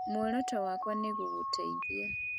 Muoroto wakwa nĩ gũgũteithia